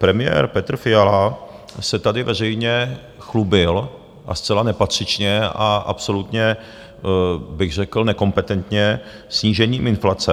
Premiér Petr Fiala se tady veřejně chlubil, a zcela nepatřičně a absolutně bych řekl nekompetentně, snížením inflace.